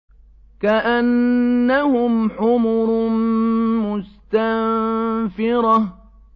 كَأَنَّهُمْ حُمُرٌ مُّسْتَنفِرَةٌ